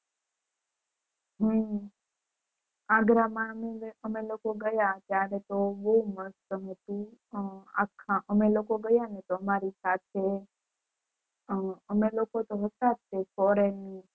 હમ આગ્રા માં અમે લોકો ગયા ત્યારે તો બૌ મસ્ત હતું અખા અમે લોકો ગયા ને તો અમારી સાથે અમે લોકો તો હતા તે foreigner